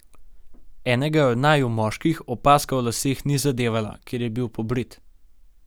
Enega od naju, moških, opazka o laseh ni zadevala, ker je bil pobrit.